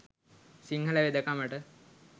Sinhala වෙදකමට